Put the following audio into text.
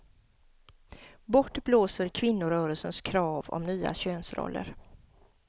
Bort blåser kvinnorörelsens krav om nya könsroller.